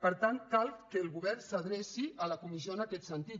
per tant cal que el govern s’adreci a la comissió en aquest sentit